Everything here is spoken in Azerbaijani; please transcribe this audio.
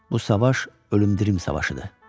Bu savaş ölümdirim savaşıdır.